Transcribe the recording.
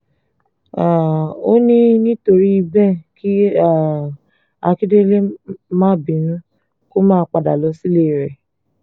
um ó ní nítorí bẹ́ẹ̀ kí um akindlee má bínú kó máa padà lọ sílé rẹ̀